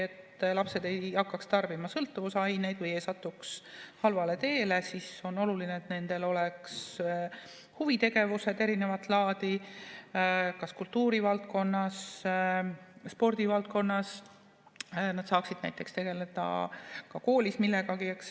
Selleks et lapsed ei hakkaks tarbima sõltuvusaineid ega satuks halvale teele, on oluline, et nendel oleks erinevat laadi huvitegevused kas kultuurivaldkonnas või spordivaldkonnas, nad saaksid näiteks tegeleda koolis millegagi.